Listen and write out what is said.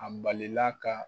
A balila ka.